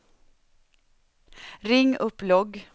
ring upp logg